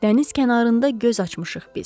Dəniz kənarında göz açmışıq biz.